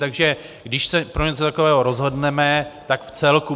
Takže když se pro něco takového rozhodneme, tak v celku.